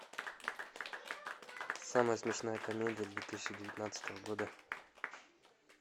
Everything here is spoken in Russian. самая смешная комедия две тысячи девятнадцатого года